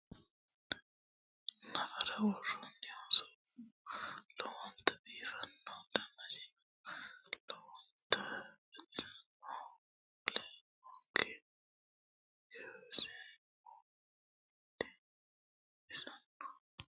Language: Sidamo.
Nafara woroonnihu soofu lowonita biifanno danisino lowonita baxisannoho mule noot kuriseno lowonta baxissano. Nafara arrishote maayra woroyihokka? Nafaru togoonta mayra ishinaa'mino?